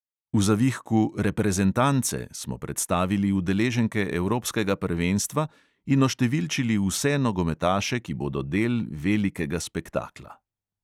V zavihku "reprezentance" smo predstavili udeleženke evropskega prvenstva in oštevilčili vse nogometaše, ki bodo del velikega spektakla.